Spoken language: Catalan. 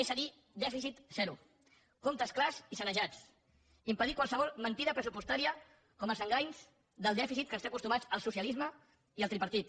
és a dir dèficit zero comptes clars i sanejats impedir qualsevol mentida pressupostària com els enganys del dèficit a què ens tenen acostumats el socialisme i el tripartit